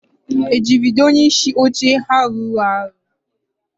e jidere onyeisi oche ahụ rụrụ arụ?